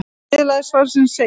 Í niðurlagi svarsins segir: